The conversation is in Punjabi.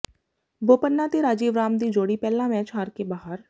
ਬੋਪੰਨਾ ਤੇ ਰਾਜੀਵ ਰਾਮ ਦੀ ਜੋੜੀ ਪਹਿਲਾ ਮੈਚ ਹਾਰ ਕੇ ਬਾਹਰ